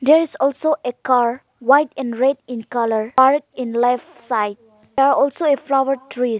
there is also a car white and red in colour parked in left side there are also a flower trees.